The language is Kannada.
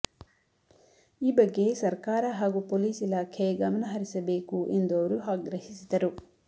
ಈ ಬಗ್ಗೆ ಸರಕಾರ ಹಾಗೂ ಪೊಲೀಸ್ ಇಲಾಖೆ ಗಮನಹರಿಸಬೇಕು ಎಂದು ಅವರು ಆಗ್ರಹಿಸಿದರು